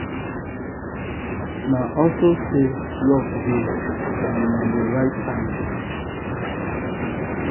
na also say luck dey and na the right time.